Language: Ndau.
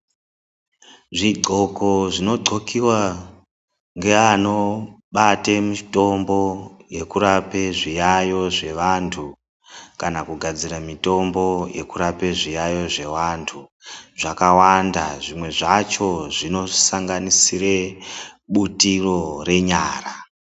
Zvidloko zvinodlokiwa ngeanobate mitombo yekurape zviyayo zvevantu, kana kugadzire mitombo yekurapa zviyayo zvevantu, zvakawanda zvimwe zvacho zvinosanganisire butiro renyara.